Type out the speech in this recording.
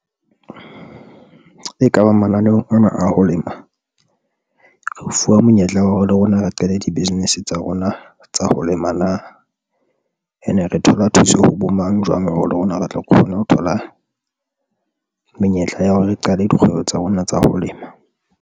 E kaba mananeong ana a ho lema, re fuwa monyetla wa hore le rona re qale di-business tsa rona tsa ho lema na and e re thola thuso ho bo mang, jwang hore le rona re tle re kgone ho thola menyetla ya hore re qale dikgwebo tsa rona tsa ho lema.